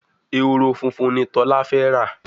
Ehoro fúnfún ní Tola fè rá